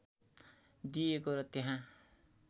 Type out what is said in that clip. दिइएको र त्यहाँ